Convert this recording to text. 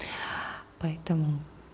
поэтому